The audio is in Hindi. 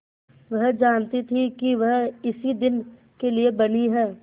वह जानती थी कि वह इसी दिन के लिए बनी है